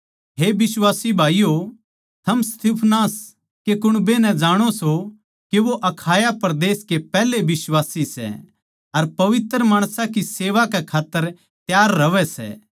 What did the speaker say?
हे बिश्वासी भाईयो थम स्तिफनास कै कुण्बे नै जाणो सो के वे अखाया परदेस के पैहले बिश्वासी सै अर पवित्र माणसां की सेवा कै खात्तर त्यार रहवैं सै